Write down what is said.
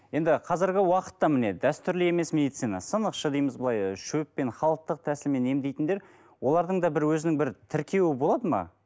енді қазіргі уақытта міне дәстүрлі емес медицина сынықшы дейміз былай шөппен халықтық тәсілмен емдейтіндер олардың да бір өзінің бір тіркеуі болады ма